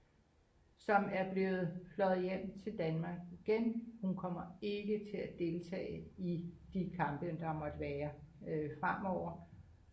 som er blevet fløjet hjem til Danmark igen hun kommer ikke til at deltage i de kampe der måtte være fremover